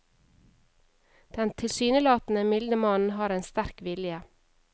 Den tilsynelatende milde mann har en sterk vilje.